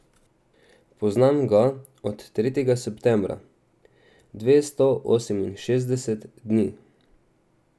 Poznam ga od tretjega septembra, dvesto oseminšestdeset dni.